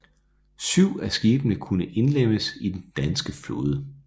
Syv af skibene kunne indlemmes i den danske flåde